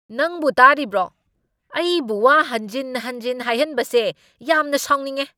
ꯅꯪꯕꯣ ꯇꯥꯔꯤꯕ꯭ꯔꯣ? ꯑꯩꯕꯨ ꯋꯥ ꯍꯟꯖꯤꯟ ꯍꯟꯖꯤꯟ ꯍꯥꯏꯍꯟꯕꯁꯦ ꯌꯥꯝꯟ ꯁꯥꯎꯅꯤꯡꯉꯦ꯫